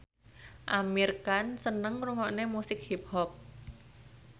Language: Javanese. Amir Khan seneng ngrungokne musik hip hop